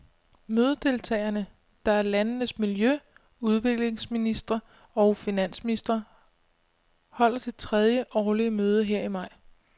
Mødedeltagerne, der er landenes miljø, udviklingsministre og finansministre, holder det tredje årlige møde her i maj.